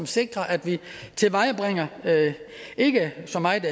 sikre at vi tilvejebringer ikke så meget